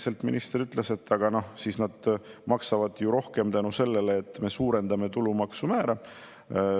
Ja siis minister põhimõtteliselt ütles: aga siis nad maksavad ju rohkem seetõttu, et me suurendame tulumaksu määra.